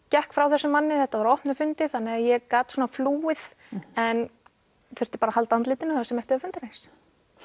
gekk frá þessum manni þetta var á opnum fundi þannig að ég gat svona flúið en þurfti bara að halda andlitinu það sem eftir var fundarins